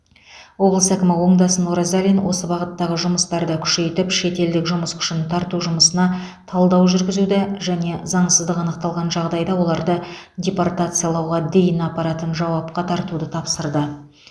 облыс әкімі оңдасын оразалин осы бағыттағы жұмыстарды күшейтіп шетелдік жұмыс күшін тарту жұмысына талдау жүргізуді және заңсыздық анықталған жағдайда оларды депортациялауға дейін апаратын жауапқа тартуды тапсырды